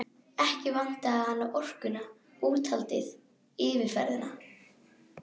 Ekki vantaði hana orkuna, úthaldið, yfirferðina.